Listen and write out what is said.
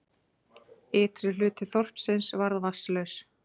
Ytri hluti þorpsins varð vatnslaus